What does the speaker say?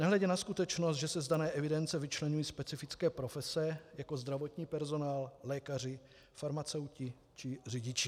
Nehledě na skutečnost, že se z dané evidence vyčlení specifické profese jako zdravotní personál, lékaři, farmaceuti či řidiči.